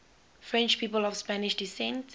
french people of spanish descent